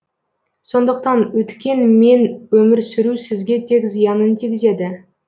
сондықтан өткен мен өмір сүру сізге тек зиянын тигізеді